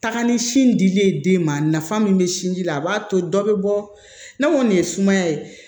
Taga ni sin dili ye den ma nafa min bɛ sinji la a b'a to dɔ bɛ bɔ ni nin ye sumaya ye